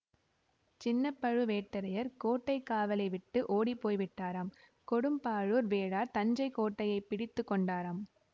சின்ன பழுவேட்டரையர் கோட்டை காவலை விட்டு ஓடி போய்விட்டாராம் கொடும்பாளூர் வேளார் தஞ்சை கோட்டையைப் பிடித்து கொண்டாராம்